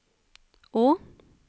å